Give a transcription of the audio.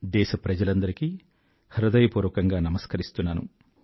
దేశప్రజలందరికీ హృదయపూర్వకంగా నమస్కరిస్తున్నాను